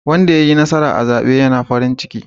Wanda yayi nasara a zaɓe ya na farin ciki.